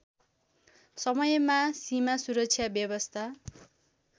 समयमा सीमासुरक्षा व्यवस्था